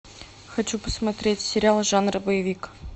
хочу посмотреть сериал жанра боевик